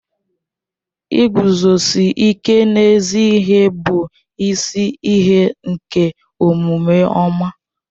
Ịguzosi ịke n'ezi ihe bụ isi ihe nke omume ọma